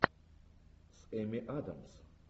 с эми адамс